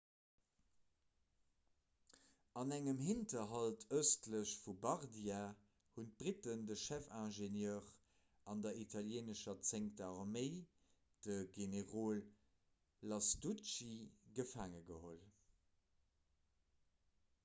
an engem hinterhalt ëstlech vu bardia hunn d'britten de chefingenieur vun der italieenescher zéngter arméi de generol lastucci gefaange geholl